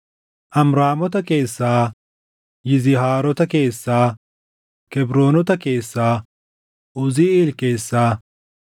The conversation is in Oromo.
Amraamota keessaa, Yizihaarota keessaa, Kebroonota keessaa, Uziiʼeel keessaa: